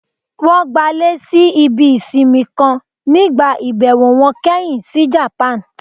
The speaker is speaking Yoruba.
Wọn gbalé sí ibí isínmì kan nígbá ibẹwo wọn kẹhin si Japan.